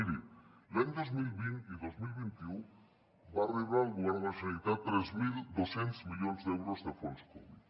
miri els anys dos mil vint i dos mil vint u va rebre el govern de la generalitat tres mil dos cents milions d’euros de fons covid